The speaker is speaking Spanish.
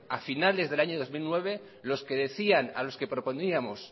a finales del año dos mil nueve los que decían a los que proponíamos